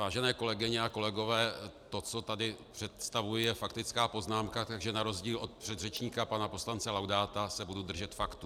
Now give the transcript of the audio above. Vážené kolegyně a kolegové, to, co tady představuji, je faktická poznámka, takže na rozdíl od předřečníka pana poslance Laudáta se budu držet faktů.